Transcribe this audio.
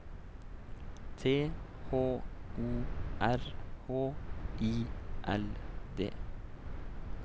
T H O R H I L D